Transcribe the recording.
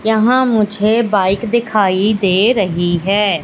यहां मुझे बाइक दिखाई दे रही है।